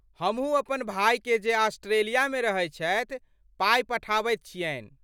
हमहुँ अपन भाइकेँ जे ऑस्ट्रेलियामे रहैत छथि, पाइ पठाबैत छियनि।